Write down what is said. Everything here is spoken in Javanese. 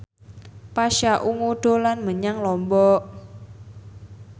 Pasha Ungu dolan menyang Lombok